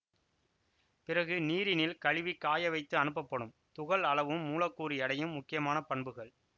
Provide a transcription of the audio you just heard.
பிறகு நீரினில் கழுவிக் காய வைத்து அனுப்பப்படும் துகள் அளவும் மூலக்கூறு எடையும் முக்கியமான பண்புகள்